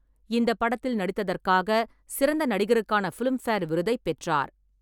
இந்தப் படத்தில் நடித்ததற்காக சிறந்த நடிகருக்கான ஃபிலிம்பேர் விருதைப் பெற்றார்.